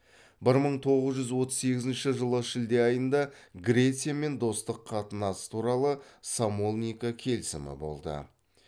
бір мың тоғыз жүз отыз сегізінші жылы шілде айында грециямен достық қатынас туралы самолника келісімі болды